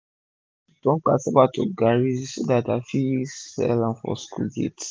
i dey learn to to turn casava to garri so dat i go fit sell am for school gate